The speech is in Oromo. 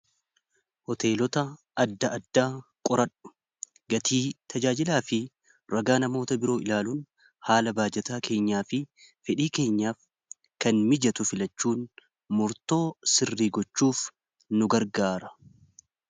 hoteelota adda adda qoradhu gatii tajaajilaa fi ragaa namoota biroo ilaaluun haala baajataa keenyaa fi fedhii keenyaaf kan mijatu filachuun murtoo sirrii gochuuf nu gargaara